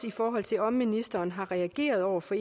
i forhold til om ministeren har reageret over for